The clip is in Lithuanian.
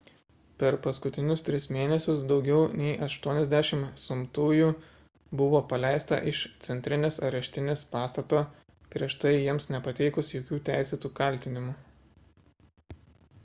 per paskutinius tris mėnesius daugiau nei 80 sumtųjų buvo paleista iš centrinės areštinės pastato prieš tai jiems nepateikus jokių teisėtų kaltinimų